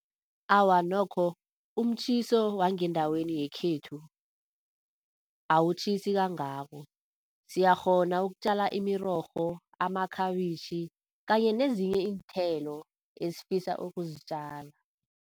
Awa nokho umtjhiso wangendaweni yekhethu awutjhisi kangako, siyakghona ukutjala imirorho, amakhabitjhi kanye nezinye iinthelo esifisa ukuzitjala.